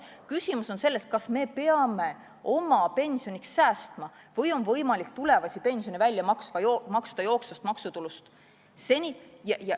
Küsimus on selles, kas me peame ise oma pensioniks säästma või on võimalik tulevasi pensione maksta jooksvast maksutulust.